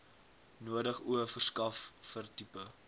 nodig o verskaffertipe